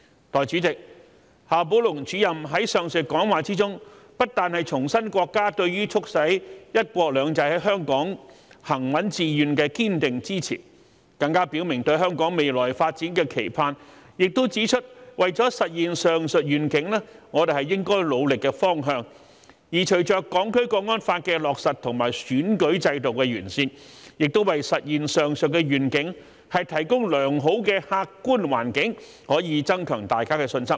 代理主席，夏寶龍主任在上述講話中不但重申國家對於促使"一國兩制"在香港行穩致遠的堅定支持，更表明對香港未來發展的期盼，也指出為了實現上述願景我們應努力的方向；而隨着《香港國安法》的落實和選舉制度的完善，亦為實現上述願景提供良好的客觀環境，可以增強大家的信心。